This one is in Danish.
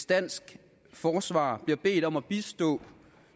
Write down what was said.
danske forsvar bliver bedt om at bistå